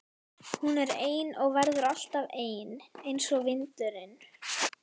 Hún er ein og verður alltaf ein einsog vindurinn.